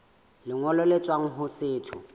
lengolo le tswang ho setho